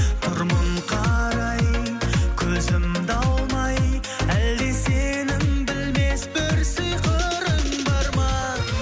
тұрмын қарай көзімді алмай әлде сенің білмес бір сиқырың бар ма